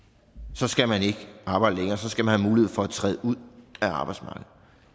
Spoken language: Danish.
så skal man ikke arbejde længere og så skal man have mulighed for at træde ud af arbejdsmarkedet